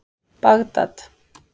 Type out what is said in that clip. Bagdad